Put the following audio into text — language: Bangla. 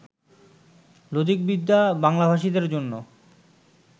লজিকবিদ্যা বাংলাভাষীদের জন্য